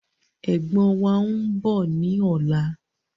Ẹ̀gbọ́n wàá ń bọ̀ ni ọ̀la